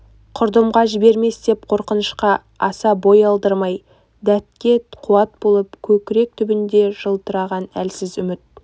құрдымға жібермес деп қорқынышқа аса бой алдырмай дәтке қуат болып көкірек түбінде жылтыраған әлсіз үміт